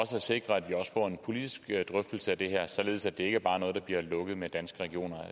sikre at vi også får en politisk drøftelse af det her således at det ikke bare er noget der bliver lukket med danske regioner